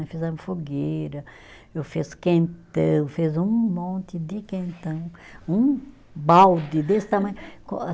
Nós fizemos fogueira, eu fiz quentão, fiz um monte de quentão, um balde desse tamanho com a.